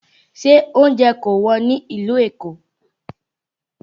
Ṣé oúnjẹ kò Wọ́n ní ìlú Èkó?